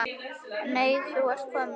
Nei, ert þú kominn?